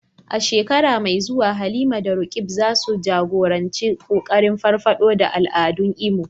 A shekara mai zuwa, Halima da Roqeeb za su jagoranci kokarin farfado da al'adun Imo.